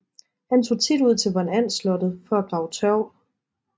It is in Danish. Han tog tit ud til von And slottet for at grave tørv